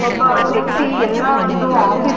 ಒಬ್ಬ ವ್ಯಕ್ತಿ ಎಲ್ಲ ಒಂದು ಆಫೀಸ್ --